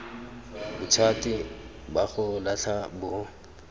bothati ba go latlha bo